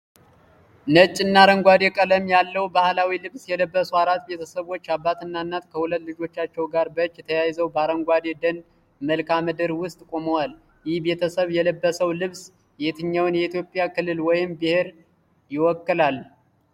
ነጭና አረንጓዴ ቀለም ያለው ባህላዊ ልብስ የለበሱ አራት ቤተሰቦች፣ አባትና እናት ከሁለት ልጆቻቸው ጋር በእጅ ተያይዘው በአረንጓዴ የደን መልክዓ ምድር ውስጥ ቆመዋል። ይህ ቤተሰብ የለበሰው ልብስ የትኛውን የኢትዮጵያ ክልል ወይም ብሔር ይወክላል?